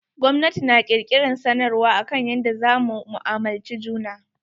Gwamnati na kirkiran sanarwar akan yadda za mu mu'amulci juna.